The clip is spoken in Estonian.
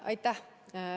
Aitäh!